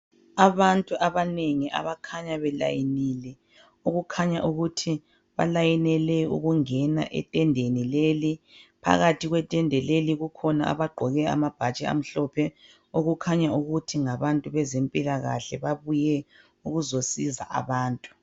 Abantu abanengi abakhanya befolile okukhanya ukuthi bafolele ukungena etendeni leli, phakathi kwetende leli kukhona abaqoke amabhatshi amhlophe okukhaya ukuthi ngabantu bezempilakahle babuye ukuzosiza abantu.